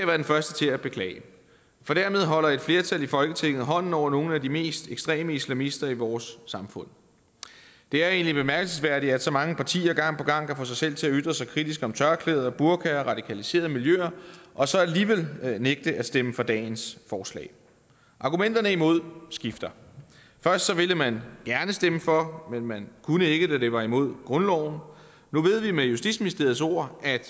være den første til at beklage for dermed holder et flertal i folketinget hånden over nogle af de mest ekstreme islamister i vores samfund det er egentlig bemærkelsesværdigt at så mange partier gang på gang kan få sig selv til at ytre sig kritisk om tørklæder burkaer og radikaliserede miljøer og så alligevel nægte at stemme for dagens forslag argumenterne imod skifter først ville man gerne stemme for men man kunne ikke da det var imod grundloven nu ved vi med justitsministeriets ord at